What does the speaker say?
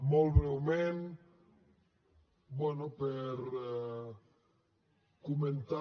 molt breument bé per comentar